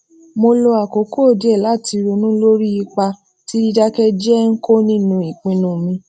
mo lo àkókò díè láti ronú lórí ipa tí dídáké jéé ń kó nínú ìpinnu mi